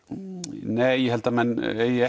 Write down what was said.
nei ég held að menn eigi